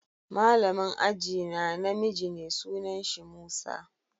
Malamin ajie na na miji ne, sunan shi Musa.